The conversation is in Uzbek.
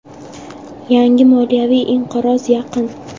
Yangi moliyaviy inqiroz yaqin.